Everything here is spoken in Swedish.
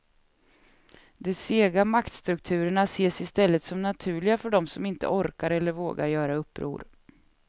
De sega maktstrukturerna ses istället som naturliga för dem som inte orkar eller vågar göra uppror.